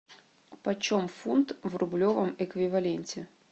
почем фунт в рублевом эквиваленте